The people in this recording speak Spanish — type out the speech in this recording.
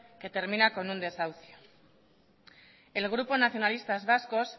que termina con un desahucio el grupo nacionalistas vascos